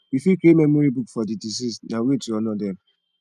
we fit create memory book for di deceased na way to honor dem